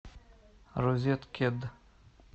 розеткед